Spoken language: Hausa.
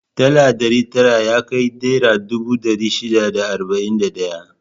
Dala ɗari tara yakai naira dubu ɗari shida da arba'in da ɗaya.